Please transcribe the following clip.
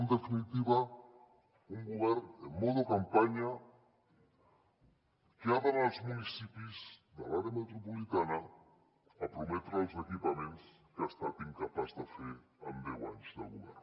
en definitiva un govern en mode campanya que ha d’anar als municipis de l’àrea metropolitana a prometre els equipaments que ha estat incapaç de fer en deu anys de govern